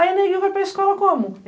Aí o neguinho vai para a escola como?